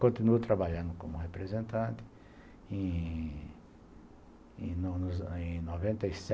Continuo trabalhando como representante e